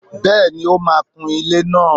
Bẹ́ẹ̀ni, ó máà ń kun ilẹ́ náà